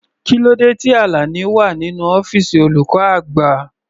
Kílódé tí Alani wà nínú ọ́fìsì olùkọ́ àgbà?